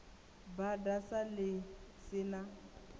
bada sa ḽi si na